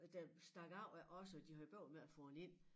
Der stak af ja også de havde bøvl med at få den ind